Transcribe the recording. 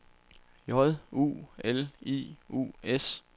J U L I U S